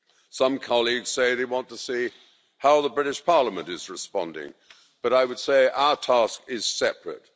Some colleagues say they want to see how the British Parliament is responding, but I would say our task is separate.